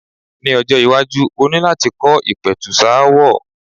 Ní ọjọ́-iwájú o ní láti kọ́ ìpẹ̀tùsááwọ̀.